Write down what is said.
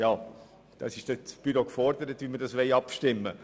Das Büro ist dann dahingehend gefordert, wie wir darüber abstimmen.